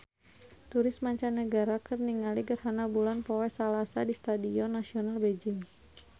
Turis mancanagara keur ningali gerhana bulan poe Salasa di Stadion Nasional Beijing